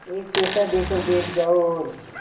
एक पैसा देकर बैठ जाओ और